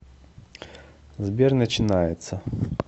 сбер начинается